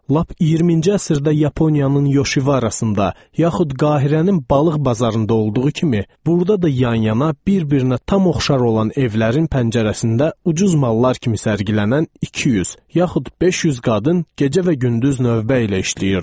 Lap 20-ci əsrdə Yaponiyanın Yoşivarasında, yaxud Qahirənin balıq bazarında olduğu kimi, burada da yan-yana, bir-birinə tam oxşar olan evlərin pəncərəsində ucuz mallar kimi sərgilənən 200, yaxud 500 qadın gecə və gündüz növbə ilə işləyirdi.